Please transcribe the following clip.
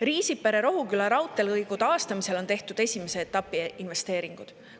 Riisipere-Rohuküla raudteelõigu taastamisel on tehtud esimese etapi investeeringud.